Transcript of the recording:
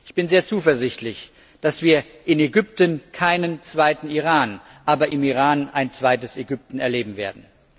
Ich bin sehr zuversichtlich, dass wir in Ägypten keinen zweiten Iran, aber im Iran ein zweites Ägypten erleben werden.